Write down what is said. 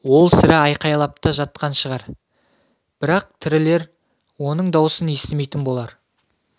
ол сірә айқайлап та жатқан шығар бірақ тірілер оның дауысын естімейтін болар